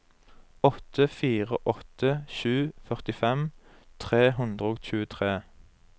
åtte fire åtte sju førtifem tre hundre og tjuetre